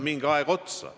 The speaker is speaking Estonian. Aitäh!